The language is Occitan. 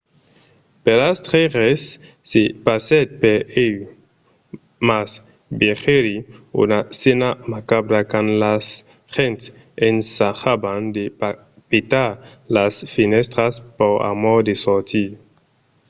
per astre res se passèt per ieu mas vegèri una scèna macabra quand las gents ensajavan de petar las fenèstras pr'amor de sortir